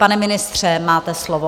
Pane ministře, máte slovo.